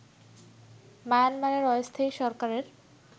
মায়ানমারের অস্থায়ী সরকারের